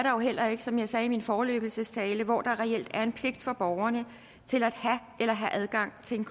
jo heller ikke som jeg sagde i min forelæggelsestale hvor der reelt er en pligt for borgerne til at have en eller have adgang til en